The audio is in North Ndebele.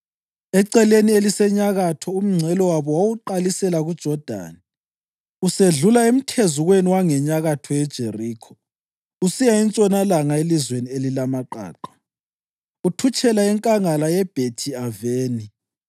Eceleni elisenyakatho umngcele wabo wawuqalisela kuJodani, usedlula emthezukweni wangenyakatho yeJerikho usiya entshonalanga elizweni elilamaqaqa, uthutshela enkangala yeBhethi-Aveni.